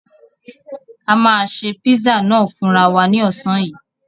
A máà ṣe pizza náà fúnra wa ní ọ̀sán yìí.